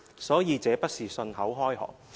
所以，這不是信口開河。